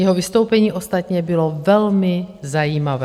Jeho vystoupení ostatně bylo velmi zajímavé.